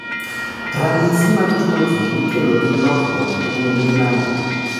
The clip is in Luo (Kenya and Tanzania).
Ranyisi mag tuoche mikelo gi lokruok e gund gin ang'o?